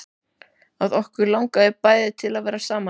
Að okkur langaði bæði til að vera saman.